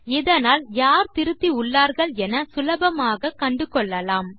இதனால் யார் திருத்தி உள்ளார்கள் என சுலபமாக கண்டுகொள்ளலாம்